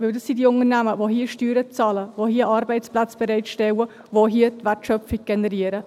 Denn dies sind die Unternehmen, die hier Steuern zahlen, hier Arbeitsplätze bereitstellen, hier die Wertschöpfung generieren.